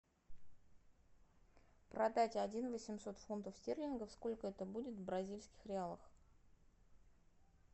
продать один восемьсот фунтов стерлингов сколько это будет в бразильских реалах